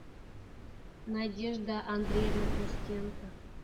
надежда андреевна костенко